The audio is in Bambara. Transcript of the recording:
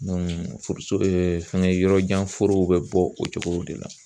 forosurun ye fɛngɛ yɔrɔjan forow bɛ bɔ o cogo de la